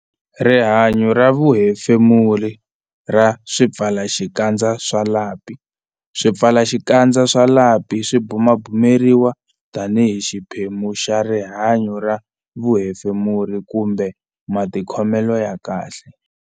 Rihanyo ra vuhefemuri ra swipfalaxikandza swa lapi Swipfalaxikandza swa lapi swi bumabumeriwa tanihi xiphemu xa rihanyo ra vuhefemuri kumbe matikhomelo ya kahle.